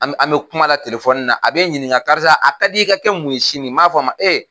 An bɛ kuma la tile telefɔni na a bɛ n ɲininka karisa a ka d'i ye i ka kɛ mun ye sini n b'a fɔ a ma ee